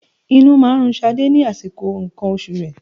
Inú máa ń run Ṣadé ní àsìkò nǹkan oṣù rẹ.